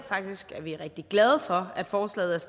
vi er faktisk rigtig glade for at forslaget